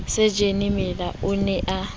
sajene mallela o ne a